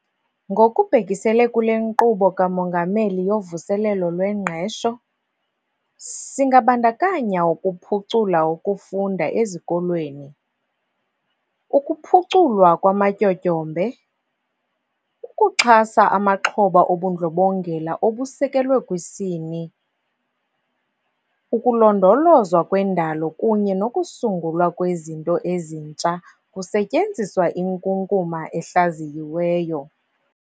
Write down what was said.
Ngokubhekisele kule Nkqubo kaMongameli yoVuselelo lweNgqesho, singabandakanya ukuphucula ukufunda ezikolweni, ukuphuculwa kwamatyotyombe, ukuxhasa amaxhoba obundlobongela obusekelwe kwisini, ukulondolozwa kwendalo kunye nokusungulwa kwezinto ezintsha kusetyenziswa inkunkuma ehlaziyiweyo.